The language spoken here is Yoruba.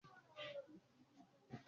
Tí ọmọdé bá ń rákòrò, aṣọ wọn á máa tètè dọ̀tí.